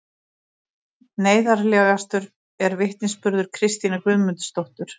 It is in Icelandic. Neyðarlegastur er vitnisburður Kristínar Guðmundardóttur